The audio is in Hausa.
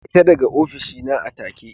Fita daga ofishi na a take!